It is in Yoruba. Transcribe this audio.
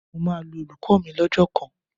Mo máa lu olùkọ́ mi lọ́jọ́ kan